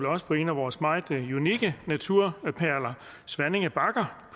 også på en af vores meget unikke naturperler svanninge bakker